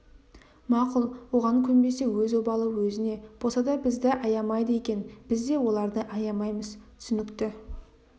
мақұл оған көнбесе өз обалы өзіне боса да бізді аямайды екен біз де оларды аямаймыз түсінікті